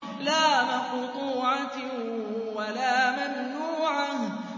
لَّا مَقْطُوعَةٍ وَلَا مَمْنُوعَةٍ